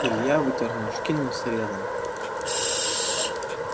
илья вытер нож кинул средам